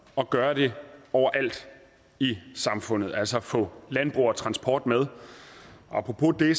og gøre det overalt i samfundet altså at få landbrug og transport med apropos det